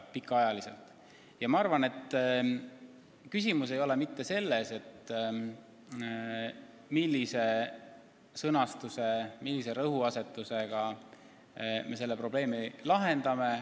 Ma arvan, et küsimus ei ole mitte selles, millise rõhuasetusega me selle probleemi lahendame.